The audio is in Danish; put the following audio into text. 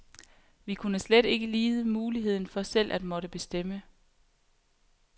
Vi kunne slet ikke lide muligheden for selv at måtte bestemme.